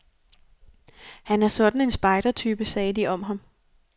Han er sådan en spejdertype, sagde de om ham.